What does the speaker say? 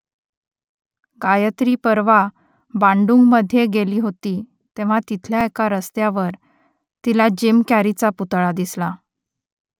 गायत्री परवा बांडुंगमध्ये गेली होती तेव्हा तिथल्या एका रस्त्यावर तिला जिम कॅरीचा पुतळा दिसला